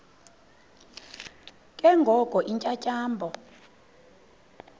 ke ngoko iintyatyambo